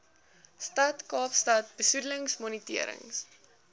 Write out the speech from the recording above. stad kaapstad besoedelingsmonitering